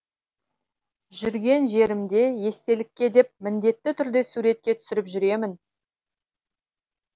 жүрген жерімде естелікке деп міндетті түрде суретке түсіріп жүремін